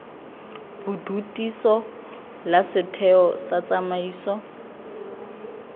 bodutiso la setheo sa tsamaiso